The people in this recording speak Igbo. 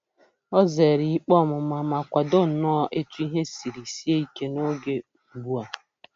O zeere ikpe ọmụma ma kwado nnọọ etu ihe siri sie ike n'oge ugbu a.